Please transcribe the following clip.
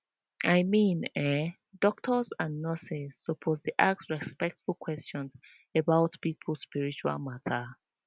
i mean eh doctors and nurses suppose dey ask respectful questions about people spiritual matter